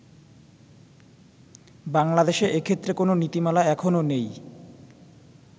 বাংলাদেশে এক্ষেত্রে কোন নীতিমালা এখনো নেই।